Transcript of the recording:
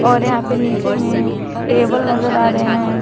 और यहां पे नीचे में टेबल नजर आ रहे हैं।